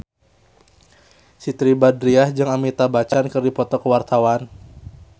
Siti Badriah jeung Amitabh Bachchan keur dipoto ku wartawan